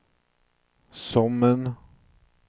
Sommen